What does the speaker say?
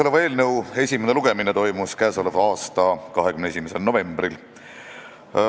Selle eelnõu esimene lugemine toimus k.a 21. novembril.